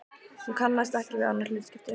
Hún kannaðist ekki við annað hlutskipti.